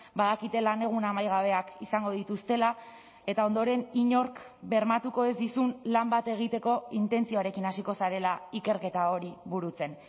badakite lanegun amaigabeak izango dituztela eta ondoren inork bermatuko ez dizun lan bat egiteko intentzioarekin hasiko zarela ikerketa hori burutzen